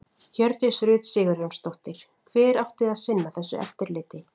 Hjördís Rut Sigurjónsdóttir: Hver átti að sinna þessu eftirliti?